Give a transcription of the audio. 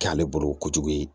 K'ale bolo kojugu ye